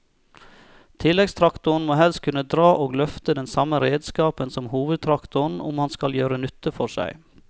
Tilleggstraktoren må helst kunne dra og løfte den samme redskapen som hovedtraktoren om han skal gjøre nytte for seg.